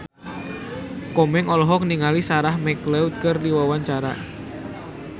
Komeng olohok ningali Sarah McLeod keur diwawancara